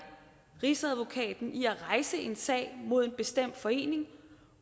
rigsadvokaten i at rejse en sag mod en bestemt forening